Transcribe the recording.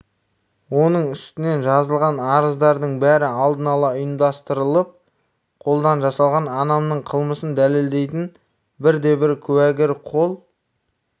оның үстінен жазылған арыздардың бәрі алдын ала ұйымдастырылып қолдан жасалған анамның қылмысын дәлелдейтін бірде-бір куәгер қол